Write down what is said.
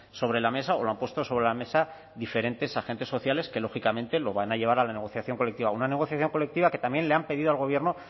sobre la mesa o lo han puesto sobre la mesa diferentes agentes sociales que lógicamente lo van a llevar a la negociación colectiva una negociación colectiva que también le han pedido al gobierno